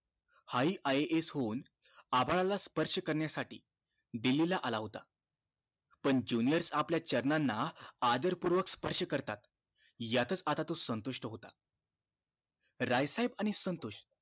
हा हि IAS होऊन आभाळाला स्पर्श करण्यासाठी दिल्ली ला आला होता पण juniors आपल्या चरण ना आदर पूर्वक स्पर्श करतात यातच आता तो संतुष्ट होता राय साहेब आणि संतोष